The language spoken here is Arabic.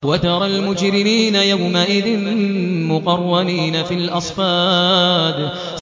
وَتَرَى الْمُجْرِمِينَ يَوْمَئِذٍ مُّقَرَّنِينَ فِي الْأَصْفَادِ